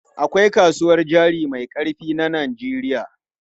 Akwai kasuwar jari mai ƙarfi na Najeriya.